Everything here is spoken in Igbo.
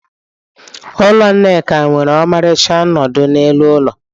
Ụlọ Nneka nwere ọmarịcha nnọdụ n'elu ụlọ.